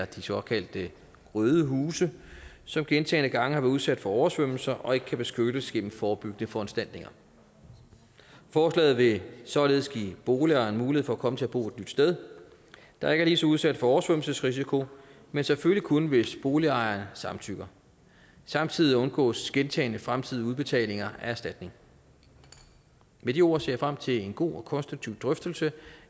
de såkaldte røde huse som gentagne gange har været udsat for oversvømmelser og ikke kan beskyttes gennem forebyggende foranstaltninger forslaget vil således give boligejeren mulighed for at komme til at bo et nyt sted der ikke er lige så udsat for oversvømmelsesrisiko men selvfølgelig kun hvis boligejeren samtykker samtidig undgås gentagne fremtidige udbetalinger af erstatning med de ord ser jeg frem til en god og konstruktiv drøftelse